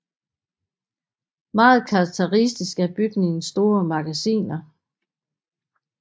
Meget karakteristisk er bygningens store magasiner